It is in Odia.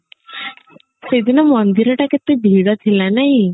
ସେଦିନ ମନ୍ଦିର ଟା କେତେ ଭିଡ ଥିଲା ନାଇଁ